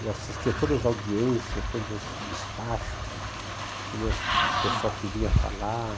Eu assistia todas as audiências, todos os despachos, todo as o pessoal que vinha falar.